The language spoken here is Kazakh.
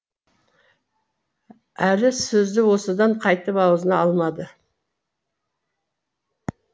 әлі сөзді осыдан қайтып аузына алмады